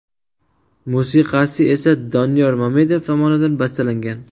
Musiqasi esa Doniyor Mamedov tomonidan bastalangan.